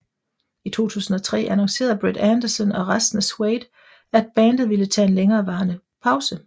I 2003 annoncerede Brett Anderson og resten af Suede at bandet ville tage en længere varende pause